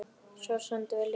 Svo seldum við líka Vikuna.